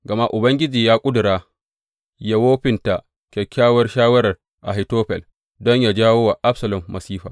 Gama Ubangiji ya ƙudura yă wofinta kyakkyawar shawarar Ahitofel, don yă jawo wa Absalom masifa.